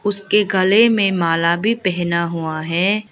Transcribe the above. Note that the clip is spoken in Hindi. उसके गले में माला भी पहना हुआ है।